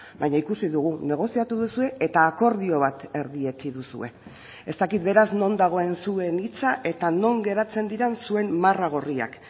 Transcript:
baina ikusi dugu negoziatu duzue eta akordio bat erdietsi duzue ez dakit beraz non dagoen zuen hitza eta non geratzen diren zuen marra gorriak